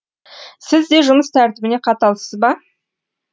сіз де жұмыс тәртібіне қаталсыз ба